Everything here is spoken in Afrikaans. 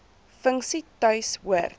funksie tuis hoort